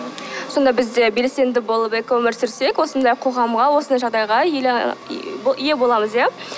сонда біз де белсенді болып экоөмір сүрсек осындай қоғамға осындай жағдайға ие боламыз иә